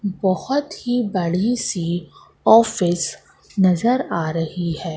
बहोत ही बड़ी सी ऑफिस नजर आ रही है।